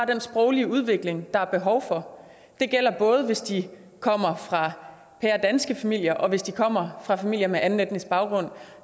den sproglige udvikling har behov for det gælder både hvis de kommer fra pæredanske familier og hvis de kommer fra familier med anden etnisk baggrund